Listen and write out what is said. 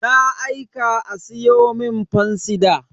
Na aika a siyo mun fansida.